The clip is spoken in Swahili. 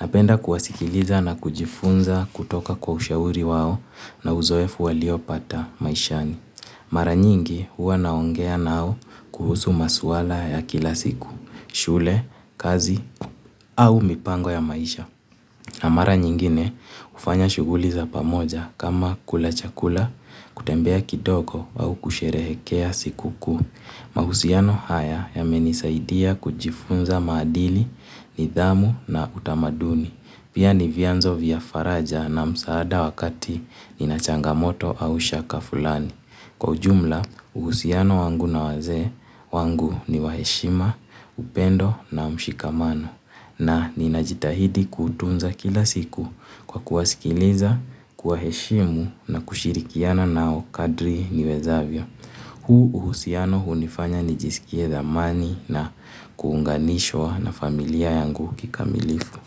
Napenda kuwasikiliza na kujifunza kutoka kwa ushauri wao na uzoefu waliopata maishani. Mara nyingi huwa naongea nao kuhusu masuala ya kila siku, shule, kazi au mipango ya maisha. Na mara nyingine hufanya shughuli za pamoja kama kula chakula, kutembea kidogo au kusherehekea siku kuu. Mahusiano haya yamenisaidia kujifunza maadili, nidhamu na utamaduni. Pia ni vyanzo vya faraja na msaada wakati nina changamoto au shaka fulani. Kwa ujumla, uhusiano wangu na wazee wangu ni wa heshima, upendo na mshikamano. Na, ninajitahidi kuutunza kila siku kwa kuwasikiliza, kuwaheshimu na kushirikiana nao kadri niwezavyo. Huu uhusiano hunifanya nijisikie dhamani na kuunganishwa na familia yangu kikamilifu.